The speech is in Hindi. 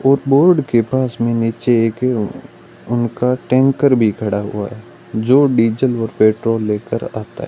और बोर्ड के पास में नीचे एक उनका टैंकर भी खड़ा हुआ है जो डीजल और पेट्रोल लेकर आता है।